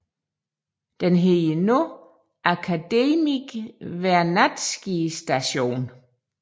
Den hedder nu Akademik Vernadsky Station